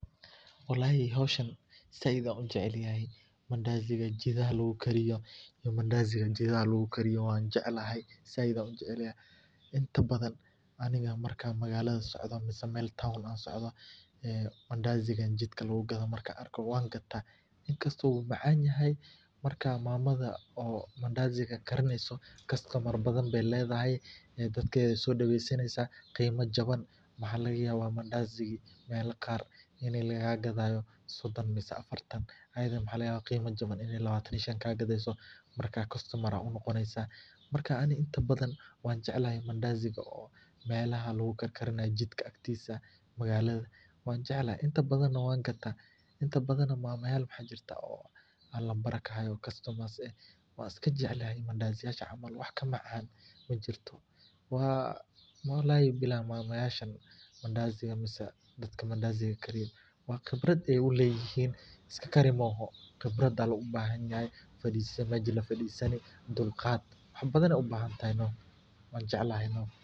Walaxi howshan said an u jecelyaxay mandasiga jithaha lagu kariyo, mandasigan jithaxa lagukariyo wanjeclahay said an ujeclayaxay inta bathan aniga markan magalatha socda mise mel town an socda, ee mandasigan jidka lagu gatha Markan arka wangada inkasto u macanyahay marka mamatha oo mandasiga karineyso customar bathan bay ledhaxay ee dadketha so daweysaneysa qima jaban, waxa lagayaba mandasiga mel qaar ina lagaa gathayo sodon mise afartan ayitha waxa lagayaba qima jaban inay lawatan ii Shan kagatheyso marka castomar aa u noqoneysa mamatha. marka aniga inta bathan wanjeclaxay mandasiga oo melaxa lagu karkarinayo jidka aktisa magalatha wanjeclaxay inta bathana wangada. inta bathana mama yaal waxa jirta oo an nambara kahayo oo customers eh wan iskajeclahy mandasiyasha camal wax ka macan majirto. Waa walaxi Bilaxi mamayashan mise dadka mandasiga kariyo wa khibrad ay uleyihin iska Kari moxo wa qibrad ba lo bahanyaxay the majil fadisani Melba fadisani iyo Dulqaad wax bathan ay ubahantaxay noh wanjeclaxay noh.